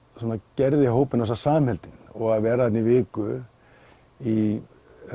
gerði hópinn samheldinn og að vera þarna í viku í